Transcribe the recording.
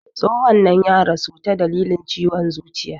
Tsohon nan ya rasu ta dalilin ciwon zuciya